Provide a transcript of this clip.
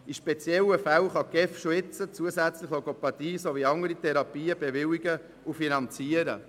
In speziellen Fällen kann die GEF bereits zusätzlich Logopädie sowie andere Therapien bewilligen und finanzieren.